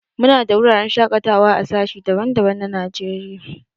Mu na da wuraren shakatawa a sashi daban-daban na Najeriya.